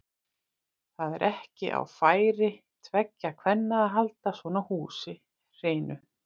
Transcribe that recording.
Það er ekki á færi tveggja kvenna að halda svona húsi hreinu.